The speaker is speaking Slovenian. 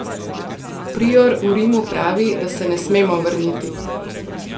Prior v Rimu pravi, da se ne smemo vrniti.